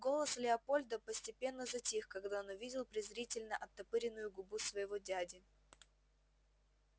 голос леапольда постепенно затих когда он увидел презрительно оттопыренную губу своего дяди